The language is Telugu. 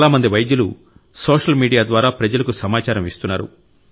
చాలా మంది వైద్యులు సోషల్ మీడియా ద్వారా ప్రజలకు సమాచారం ఇస్తున్నారు